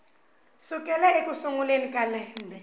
sukela eku sunguleni ka lembe